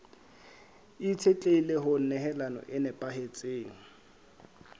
itshetlehile ho nehelano e nepahetseng